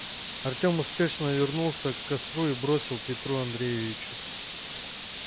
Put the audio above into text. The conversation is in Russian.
артем спешно вернулся к костру и бросил петру андреевичу